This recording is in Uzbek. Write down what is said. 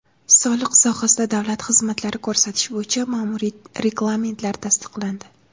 Soliq sohasida davlat xizmatlari ko‘rsatish bo‘yicha ma’muriy reglamentlar tasdiqlandi.